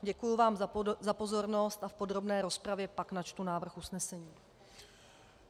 Děkuji vám za pozornost a v podrobné rozpravě pak načtu návrh usnesení.